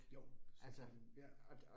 Jo sådan ja